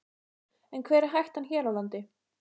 En hver er hættan hér á landi?